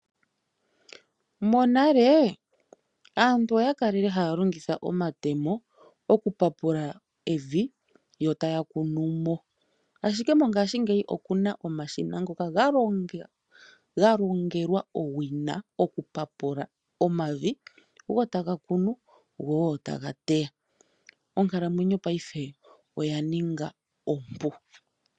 Monale aantu oyakalele haya longitha omatemo okupapula evi, yo taya kunumo, ashike mongashingeyi okuna omashina ngoka galongelwa owina okupapula omavi, go taga kunu, go taga teya. Onkalamwenyo paife oya ninga ompu.